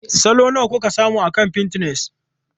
Salo nawa kuka samu akan Pinterest?